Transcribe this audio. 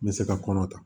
N bɛ se ka kɔnɔ ta